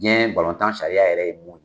Ni balontan sariya yɛrɛ ye min ye.